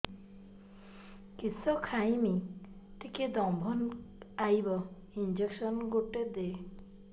କିସ ଖାଇମି ଟିକେ ଦମ୍ଭ ଆଇବ ଇଞ୍ଜେକସନ ଗୁଟେ ଦେ